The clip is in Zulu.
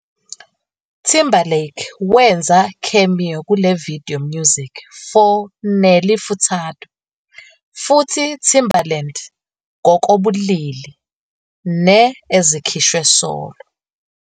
Timberlake wenza cameo kule video music for Nelly Furtado futhi Timbaland "ngokobulili" ne-ezikhishwe solo